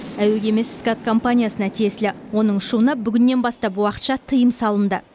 әуе кемесі скат компаниясына тиесілі оның ұшуына бүгіннен бастап уақытша тыйым салынды